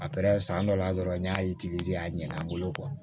A pɛrɛ san dɔ la dɔrɔn n y'a a ɲɛna n bolo